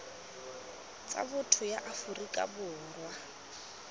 tsa botho ya aforika borwa